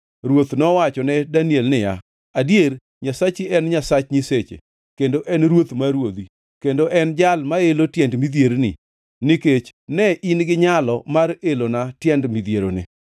Ruoth nowachone Daniel niya, “Adier, Nyasachi en Nyasach nyiseche, kendo en Ruoth mar ruodhi, kendo en Jal maelo tiend midhierni, nikech ne in gi nyalo mar elona tiend midhieroni.”